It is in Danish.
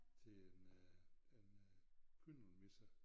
Til en øh en øh kyndelmisse